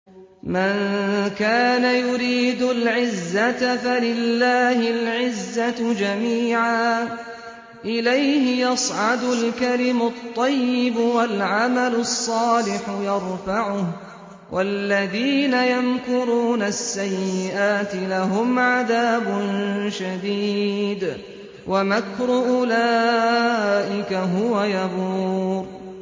مَن كَانَ يُرِيدُ الْعِزَّةَ فَلِلَّهِ الْعِزَّةُ جَمِيعًا ۚ إِلَيْهِ يَصْعَدُ الْكَلِمُ الطَّيِّبُ وَالْعَمَلُ الصَّالِحُ يَرْفَعُهُ ۚ وَالَّذِينَ يَمْكُرُونَ السَّيِّئَاتِ لَهُمْ عَذَابٌ شَدِيدٌ ۖ وَمَكْرُ أُولَٰئِكَ هُوَ يَبُورُ